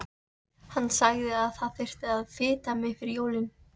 Hann sagði að það þyrfti að fita mig fyrir jólin.